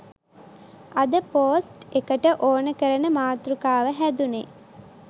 අද පෝස්ට් එකට ඕන කරන මාතෘකාව හැදුනේ